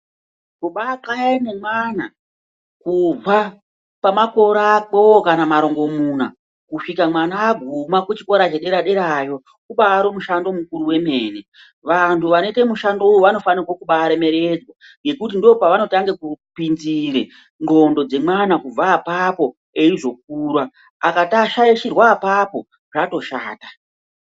Kubaxaya nemwana kubva pamakore akwewo kana marongomuna kusvika mwana aguma kuchikora chedera derayo ubari mushando mukuru wemene. Vantu vanoite mushando uyu vanofane kubaremekedzwa ngekuti ndopavanotange kupinzire ndxondo dzemwana kubva apapo eizokura. Akashaishirwa apapo, zvatoshata.